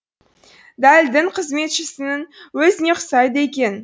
дәл дін қызметшісінің өзіне ұқсайды екен